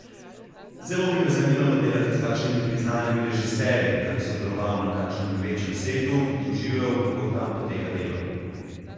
Zelo bi me zanimalo delati s kakšnimi priznanimi režiserji, da bi sodeloval na kakšnem večjem setu, doživel, kako tam poteka delo.